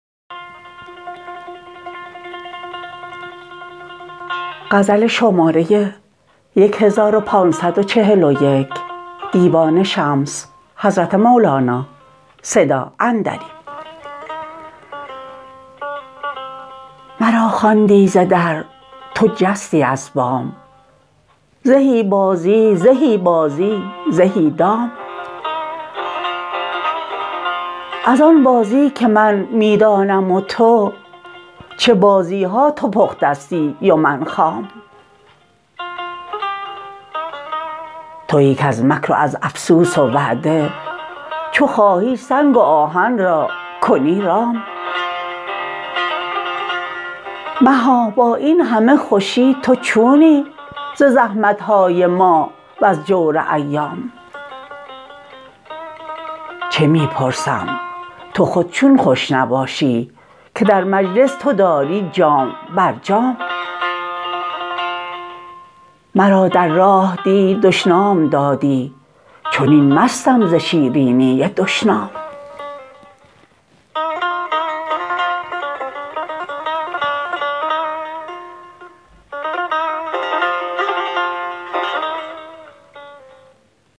مرا خواندی ز در تو خستی از بام زهی بازی زهی بازی زهی دام از آن بازی که من می دانم و تو چه بازی ها تو پختستی و من خام توی کز مکر و از افسوس و وعده چو خواهی سنگ و آهن را کنی رام مها با این همه خوشی تو چونی ز زحمت های ما وز جور ایام چه می پرسم تو خود چون خوش نباشی که در مجلس تو داری جام بر جام مرا در راه دی دشنام دادی چنین مستم ز شیرینی دشنام